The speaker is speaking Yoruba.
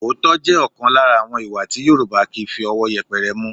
Òótọ́ jẹ́ ọ̀kan lára àwọn ìwà tí Yorùbá kì í fi ọwọ́ yẹpẹrẹ mú